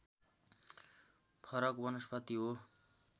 फरक वनस्पति हो